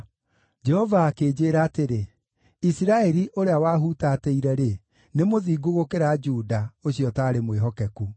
Jehova akĩnjĩĩra atĩrĩ: “Isiraeli, ũrĩa waahuutatĩire-rĩ, nĩ mũthingu gũkĩra Juda, ũcio ũtaarĩ mwĩhokeku.